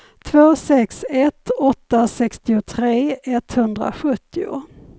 två sex ett åtta sextiotre etthundrasjuttio